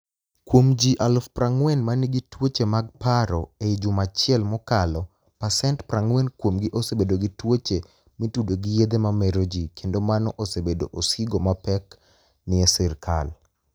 Kuom ji 40000 manigi tuoche mag paro ei juma achiel mokalo pasenit 40 kuomgi osebedo gi tuoche mi tudo gi yedhe mamero ji kenido mano osebedo osigo mapek ni e sirka.